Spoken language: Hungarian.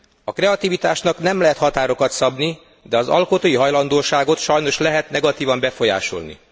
A kreativitásnak nem lehet határokat szabni, de az alkotói hajlandóságot sajnos lehet negatívan befolyásolni.